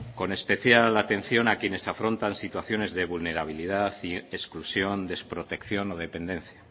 con especial atención a quienes afrontan situaciones de vulnerabilidad y exclusión desprotección o dependencia